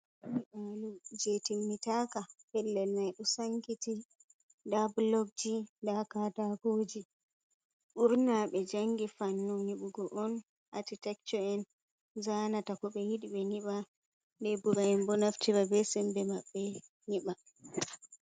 Nyibalo je timminaka. Pellel mai do sankiti daa bulogji, daa katakooji. Burna be jangi fannu niɓugo on acitecto'en zaanata kobe yidi be nyiɓa lebura'en be naftira be sembe maɓbe nyiɓa.